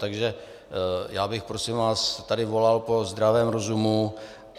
Takže já bych prosím vás tady volal po zdravém rozumu.